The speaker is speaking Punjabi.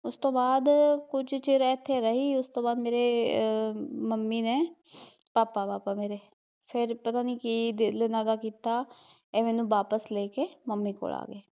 ਉਸ ਤੋਂ ਬਾਅਦ ਕੁਝ ਚਿਰ ਏਥੇ ਰਹੀ, ਉਸਤੋਂ ਬਾਦ ਆ ਮੇਰੇ ਮੰਮੀ ਨੇ ਪਾਪਾ ਪਾਪਾ ਮੇਰੇ ਫਿਰ ਪਤਾ ਨੀ ਕੀ ਦਿਲ ਇਹਨਾਂ ਦਾ ਕੀਤਾ ਏਹ ਮੈਨੂੰ ਵਾਪਿਸ ਲੇ ਕੇ ਮੰਮੀ ਕੋਲ ਆਗੇ